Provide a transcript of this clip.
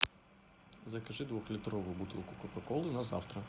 закажи двухлитровую бутылку кока колы на завтра